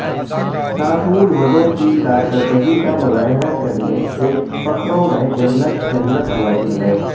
طاطول وڈو کی کارکردگی کا مظاہرہ کرنے کے فخروں میں جنت جنت واجب ہے